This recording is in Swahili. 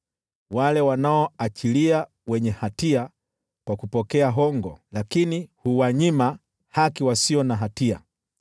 wale wanaoachilia wenye hatia kwa kupokea hongo, lakini huwanyima haki wasio na hatia.